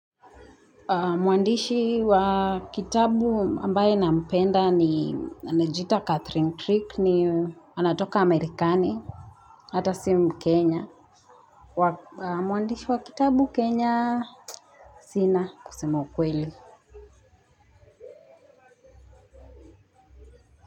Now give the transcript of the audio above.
Mwandishi wa kitabu ambaye na mpenda ni anajiita Catherine Trigg ni anatoka Amerikani. Hata si mukenya mwandishi wa kitabu Kenya. Sina kusema ukweli.